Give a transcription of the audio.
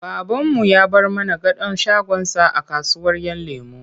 Babanmu ya bar mana gadon shagonsa a kasuwar ‘Yan lemo.